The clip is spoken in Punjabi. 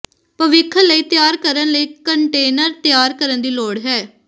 ਭਵਿੱਖ ਲਈ ਤਿਆਰ ਕਰਨ ਲਈ ਕੰਟੇਨਰ ਤਿਆਰ ਕਰਨ ਦੀ ਲੋੜ ਹੈ